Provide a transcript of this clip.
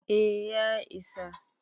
eh ya isa